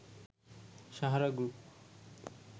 Sahara group